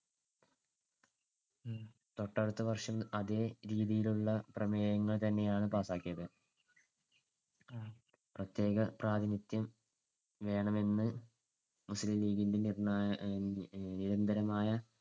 തൊട്ടടുത്ത വർഷം അതെ രീതിയിലുള്ള പ്രമേയങ്ങൾതന്നെയാണ് പാസ്സാക്കിയത്. പ്രതേക പ്രാതിനിധ്യം വേണമെന്ന് മുസ്ലീം ലീഗിന്‍ടെ നിര്‍ണ്ണായ~ അഹ് നിരന്തരമായ